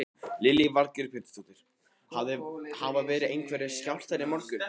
Lillý Valgerður Pétursdóttir: Hafa verið einhverjir skjálftar í morgun?